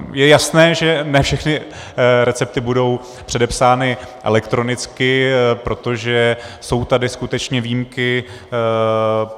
Je jasné, že ne všechny recepty budou předepsány elektronicky, protože jsou tady skutečně výjimky.